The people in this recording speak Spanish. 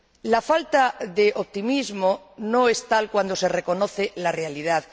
La falta de optimismo no es tal cuando se reconoce la realidad